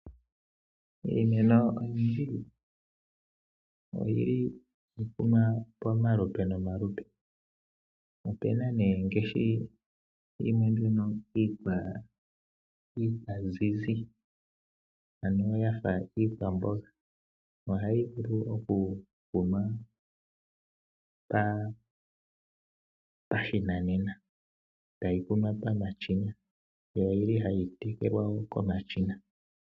Iimeno oyindji ohayi kunwa pamalupe nomalupe. Opu na ngaashi mbyono iikwamboga ohayi vulu okukunwa pashinanena tayi kunwa pamashina yo ohayi tekelwa wo komashina.